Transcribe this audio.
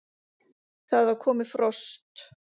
Það var komið frost!